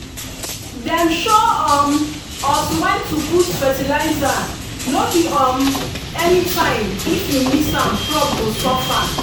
dem show um us when to put fertilizer no be um anytime if you miss am crop go suffer.